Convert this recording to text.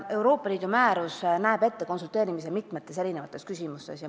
Euroopa Liidu määrus näeb ette konsulteerimise mitmetes küsimustes.